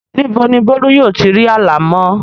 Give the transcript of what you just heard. Ní bo ni Bólú yóò ti ri alámọ̀?